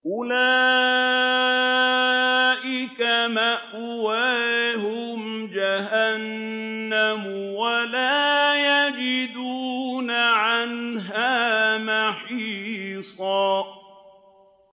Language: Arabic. أُولَٰئِكَ مَأْوَاهُمْ جَهَنَّمُ وَلَا يَجِدُونَ عَنْهَا مَحِيصًا